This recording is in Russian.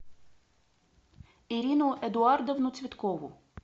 ирину эдуардовну цветкову